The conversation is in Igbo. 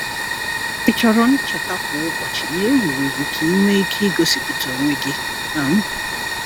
Ị chọrọ ncheta kwa ụbọchị na e wuru gị ka ị nwee ike igosipụta onwe gị? um